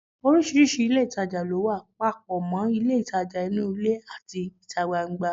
Oríṣiríṣi ilé ìtajà ló wà, papọ̀ mọ́ ilé ìtajà inú ilé àti ìta gbangba